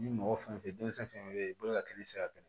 Ni mɔgɔ fɛn fɛn denmisɛn fɛn fɛn bɛ yen i bolo ka kɛ i tɛ se ka